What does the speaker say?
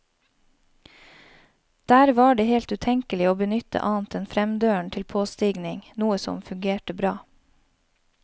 Der var det helt utenkelig å benytte annet enn fremdøren til påstigning, noe som fungerte bra.